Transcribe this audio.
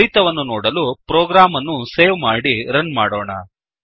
ಫಲಿತವನ್ನು ನೋಡಲು ಪ್ರೋಗ್ರಾಮ್ ಅನ್ನು ಸೇವ್ ಮಾಡಿ ರನ್ ಮಾಡೋಣ